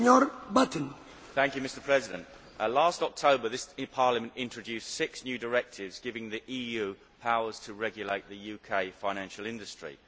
Mr President, last October this Parliament introduced six new directives giving the EU powers to regulate the UK financial industry.